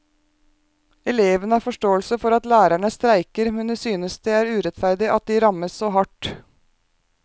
Elevene har forståelse for at lærerne streiker, men de synes det er urettferdig at de rammes så hardt.